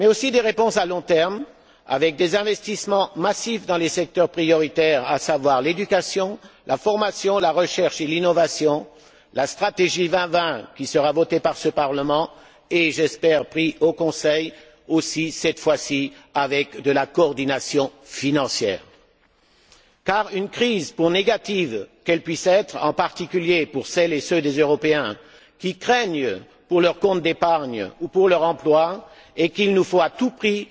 Des réponses également à long terme avec des investissements massifs dans les secteurs prioritaires, à savoir l'éducation, la formation, la recherche et l'innovation, la stratégie 2020 qui sera votée par ce Parlement et, j'espère, entérinée par le Conseil, cette fois ci avec de la coordination financière, car une crise, pour négative qu'elle puisse être, en particulier pour celles et ceux des Européens qui craignent pour leurs comptes d'épargne ou pour leur emploi et qu'il nous faut à tout prix